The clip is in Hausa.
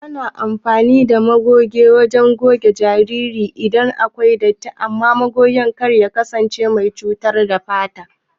Ana amfani ɗa magoge wajen goge jariri iɗan akwai ɗatti amman magogen kar ya kasance mai cutarwa ga fata.